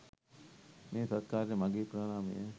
මේ සත්කාරයට මගේ ප්‍රණාමය.